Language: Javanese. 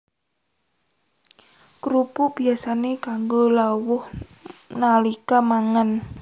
Krupuk biyasané kanggo lawuh nalika mangan